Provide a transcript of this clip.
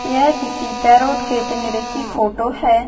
यह किसी पैरोट के पिंजरे की फोटो है।